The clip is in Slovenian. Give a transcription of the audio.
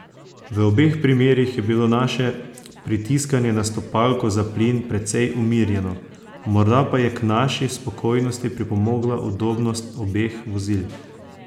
V obeh primerih je bilo naše pritiskanje na stopalko za plin precej umirjeno, morda pa je k naši spokojnosti pripomogla udobnost obeh vozil.